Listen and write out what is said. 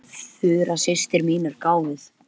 Ferlega ertu þung og andfúl.